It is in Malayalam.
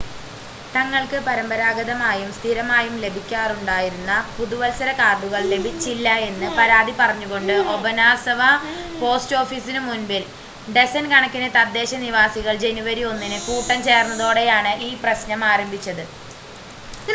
തങ്ങൾക്ക് പരമ്പരാഗതമായും സ്ഥിരമായും ലഭിക്കാറുണ്ടായിരുന്ന പുതുവത്സര കാർഡുകൾ ലഭിച്ചില്ല എന്ന് പരാതി പറഞ്ഞുകൊണ്ട് ഒബനാസവ പോസ്റ്റ് ഓഫീസിനു മുൻപിൽ ഡസൻ കണക്കിന് തദ്ദേശ നിവാസികൾ ജനുവരി 1 ന് കൂട്ടം ചേർന്നതോടെയാണ് ഈ പ്രശ്നം ആരംഭിച്ചത്